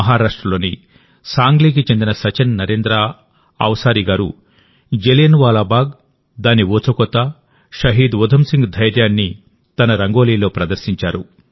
మహారాష్ట్రలోని సాంగ్లీకి చెందిన సచిన్ నరేంద్ర అవ్సారి గారు జలియన్ వాలా బాగ్ దాని ఊచకోత షహీద్ ఉధమ్ సింగ్ ధైర్యాన్ని తన రంగోలీలో ప్రదర్శించారు